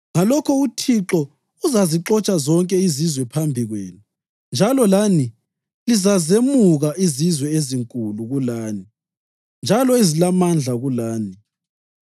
ngalokho uThixo uzazixotsha zonke izizwe phambi kwenu njalo lani lizazemuka izizwe ezinkulu kulani, njalo ezilamandla kulani.